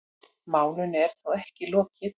Málinu er þó ekki lokið.